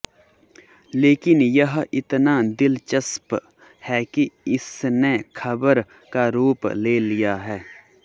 लेकिन यह इतना दिलचस्प है कि इसने खबर का रूप ले लिया है